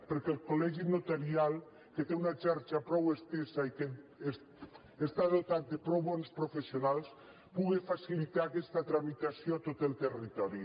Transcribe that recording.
perquè el colxarxa prou estesa i que està dotat de prou bons professionals puga facilitar aquesta tramitació a tot el territori